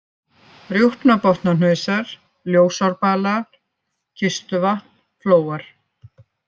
Rjúpnabotnahnausar, Ljósárbalar, Kistuvatn, Flóar